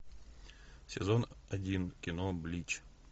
сезон один кино блич